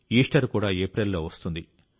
Easter కూడా ఏప్రిల్లో వస్తుంది